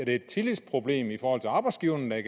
er et tillidsproblem i forhold til arbejdsgiverne er